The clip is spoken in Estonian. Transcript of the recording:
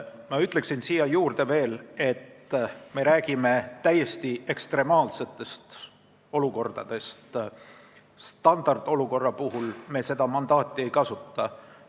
Ma ütlen veel siia juurde, et me räägime täiesti ekstreemsetest olukordadest, standardolukorra puhul me seda mandaati ei kasuta.